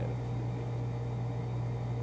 tio dele.